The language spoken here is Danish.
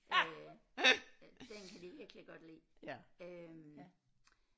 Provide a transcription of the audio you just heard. Øh den den kan de virkelig godt lide øh